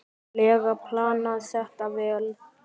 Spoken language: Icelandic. lega planað þetta vel.